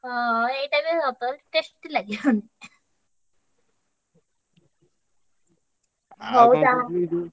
ହଁ ଏଇଟା ବି ସତ tasty ଲାଗିବନି। ହଉ ତାହେଲେ।